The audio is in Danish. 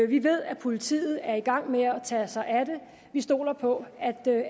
vi ved at politiet er i gang med at tage sig af det vi stoler på